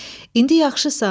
İndi yaxşısan?